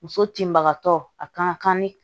Muso tinbagatɔ a kan ka kan ni